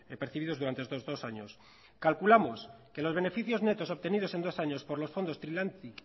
percibidos durante estos dos años calculamos que los beneficios netos obtenidos en dos años por los fondos trilantic